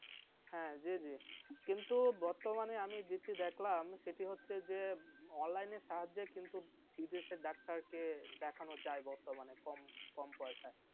হ্যাঁ, জে জে। কিন্তু বর্তমানে আমি যেটি দেখলাম সেটি হচ্ছে যে online নে সাহায্যে কিন্তু নিজের doctor কে দেখানো যায়। বর্তমানে কম কম পয়সায়.